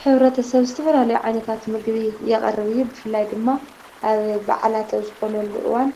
ሕብረተሰብ ዝተፈላለዩ ዓይነታት ምግቢ የቅርብ እዩ ።ብፍላይ ድማ ኣብ በዓላት ኣብ ዝኾነሉ እዋን